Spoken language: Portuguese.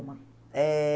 Eh...